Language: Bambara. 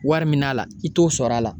Wari min na a la i t'o sɔrɔ a la